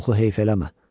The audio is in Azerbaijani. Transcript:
Oxu heyf eləmə.